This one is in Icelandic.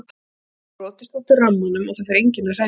Ég hef brotist út úr rammanum og það fer enginn að hræra í mér.